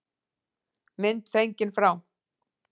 Mynd fengin frá